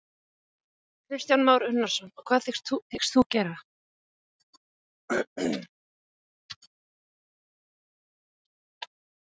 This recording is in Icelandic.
Kristján Már Unnarsson: Og hvað hyggst þú gera?